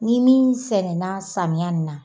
Ni min sɛnɛna samiya in na